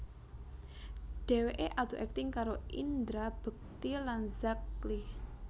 Dheweké adu akting karo Indra Bekti lan Zack Lee